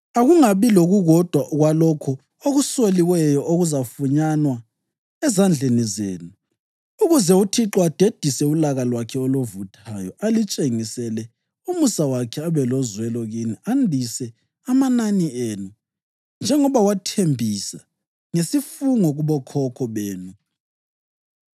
Akungabi lokukodwa kwalokho okusoliweyo okuzafunyanwa ezandleni zenu, ukuze uThixo adedise ulaka lwakhe oluvuthayo; alitshengisele umusa wakhe, abe lozwelo kini, andise amanani enu, njengoba wathembisa ngesifungo kubokhokho benu,